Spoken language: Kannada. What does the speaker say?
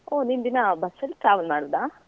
ಓಹ್ ನೀನ್ ದಿನಾ bus ಅಲ್ಲಿ travel ಮಾಡುದಾ?